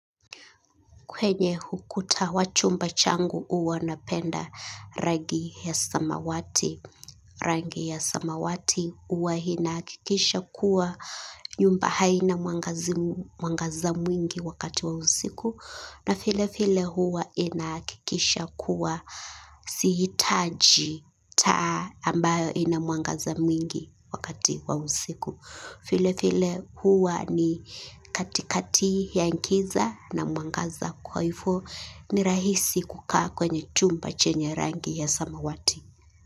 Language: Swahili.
Kwenye hukuta wachumba changu uwa napenda rangi ya samawati. Rangi ya samawati uwa hinaakikisha kuwa nyumba haina mwangaza mwingi wakati wa usiku. Na file file huwa inaakikisha kuwa sihitaji taa ambayo ina mwangaza mwingi wakati wa usiku. File file huwa ni katikati ya nkiza na mwangaza kwaifo ni rahisi kukaa kwenye chumba chenye rangi ya samawati.